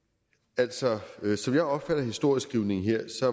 altså som jeg opfatter historieskrivningen her